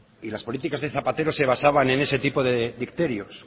y las políticas de zapatero se basaban ese tipo de dicterios